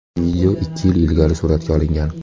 Video ikki yil ilgari suratga olingan.